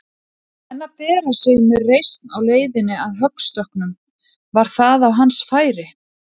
En að bera sig með reisn á leiðinni að höggstokknum, var það á hans færi?